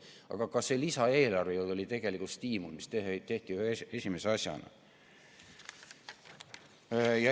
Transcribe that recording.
Aga ka see lisaeelarve oli tegelikult stiimul, mis tehti esimese asjana.